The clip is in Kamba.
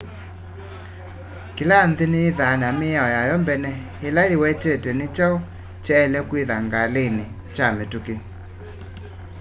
kĩla nthĩ nĩyĩthaa na mĩao yayo mbene ĩla yĩwetete nĩkyaũ kyaĩle kwĩtha ngalĩnĩ kya mĩtũkĩ